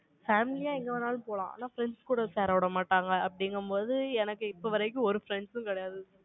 family ஆ எங்க வேணாலும் போலாம். ஆனா friends கூட சேர விட மாட்டாங்க, அப்படிங்கும்போது, எனக்கு இப்ப வரைக்கும், ஒரு friends சும் கிடையாது